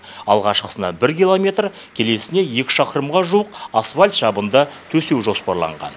алғашқысына бір километр келесіне екі шақырымға жуық асфальт жабынды төсеу жоспарланған